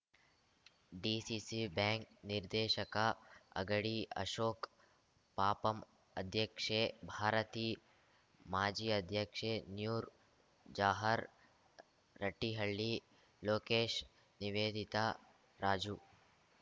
DCC bank ನಿರ್ದೇಶಕ ಅಗಡಿ ಅಶೋಕ್ ಪಪಂ ಅಧ್ಯಕ್ಷೆ ಭಾರತಿ ಮಾಜಿ ಅಧ್ಯಕ್ಷೆ ನ್ಯೂರ್‌ ಜಹಾರ್ ರಟ್ಟಿಹಳ್ಳಿ ಲೋಕೇಶ್‌ ನಿವೇದಿತಾ ರಾಜು